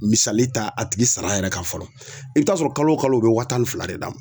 Misali ta a tigi sara yɛrɛ kan fɔlɔ i bɛ taa sɔrɔ kalo o kalo u bɛ wa tan ni fila d'a ma.